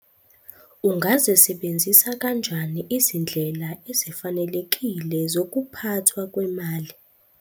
Ungazisebenzisa kanjani izindlela ezifanelekile zokuphathwa kwemali